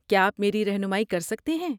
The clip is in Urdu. کیا آپ میری رہنمائی کر سکتے ہیں؟